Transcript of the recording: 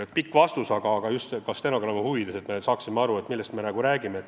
Tuli pikk vastus, aga vastasin pikalt ka stenogrammi huvides, et oleks arusaadav, millest jutt käib.